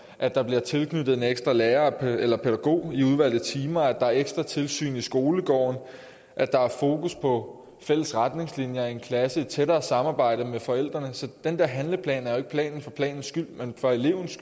at der bliver tilknyttet en ekstra lærer eller pædagog i udvalgte timer at der er ekstra tilsyn i skolegården at der er fokus på fælles retningslinjer i en klasse og tættere samarbejde med forældrene så den der handleplan er en plan for planens skyld men for elevens